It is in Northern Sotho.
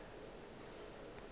ge a fihla gae a